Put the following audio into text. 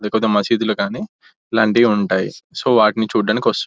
కొన్ని మసీదులు కానీ ఇలాంటివి ఉంటాయి సో వాటిని చూడ్డానికి వస్తు--